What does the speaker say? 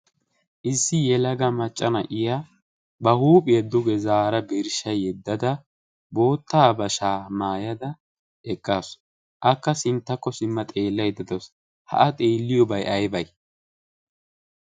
issi yelaga macca na'iya ba huuphiyae duge zaara birshsha yeddada boottaa bashaa maayada eqqaasu akka sinttakko simma xeellaedda dasu haa xeelliyoobay aybay